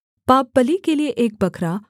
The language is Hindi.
पापबलि के लिये एक बकरा